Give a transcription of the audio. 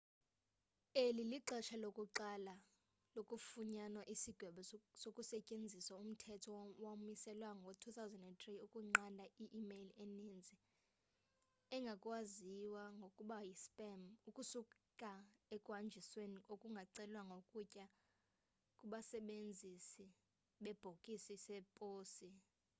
eli lixesha lokuqala kufunyanwa isigwebo kusetyenziswa umthetho owamiselwa ngo-2003 ukunqanda i-imeyile eninzi ekwaziwa ngokuba yi spam ukusuka ekuhanjisweni okungacelwanga ukuya kubasebenzisi bebhokisi zeposi